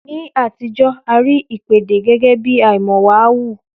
Ní àtijọ́, a rí ìpèdè gẹ́gẹ́bí àìmọ̀wàhu